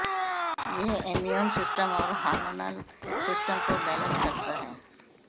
यह immune system और hormonal system को बैलेंस करता है